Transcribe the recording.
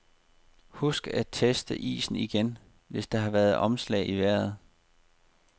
Husk at teste isen igen, hvis der har været omslag i vejret.